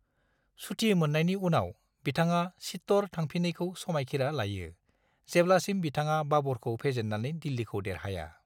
सुथि मोननायनि उनाव, बिथाङा चित्तौड़ थांफिनैनि समायखिरा लायो, जेब्लासिम बिथाङा बाबरखौ फेजेन्नानै दिल्लिखौ देरहाया।